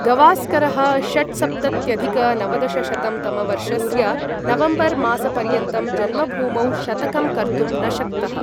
गवास्करः षट्सप्तत्यधिक नवदशशतं तमवर्षस्य नवम्बर् मासपर्यन्तं जन्मभूमौ शतकं कर्तुं न शक्तः।